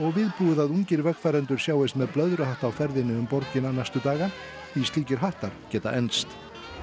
viðbúið að ungir vegfarendur sjáist með blöðruhatta á ferðinni um borgina næstu daga því slíkir hattar geta enst